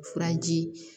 Furaji